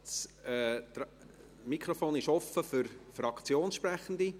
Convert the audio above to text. Das Mikrofon ist offen für Fraktionssprechende.